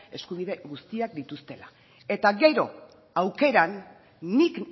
eskubide guztiak dituztela eta gero aukeran nik